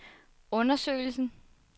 undersøgelsen